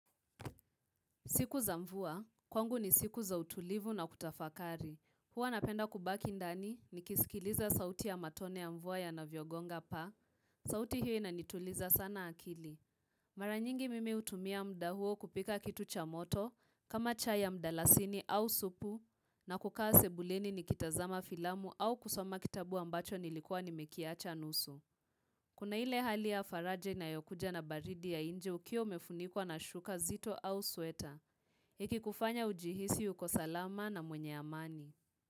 Siku za mvua, kwangu ni siku za utulivu na kutafakari. Huwa napenda kubaki ndani nikisikiliza sauti ya matone ya mvua yanavyo gonga paa. Sauti hiyo inituliza sana akili. Mara nyingi mimi utumia muda huo kupika kitu cha moto, kama chai ya mdalasini au supu, na kukaa sebuleni nikitazama filamu au kusoma kitabu ambacho nilikuwa nimekiacha nusu. Kuna ile hali ya faraja inayokuja na baridi ya nje ukiwa umefunikwa na shuka zito au sueta. Hiki kufanya ujihisi uko salama na mwenye amani.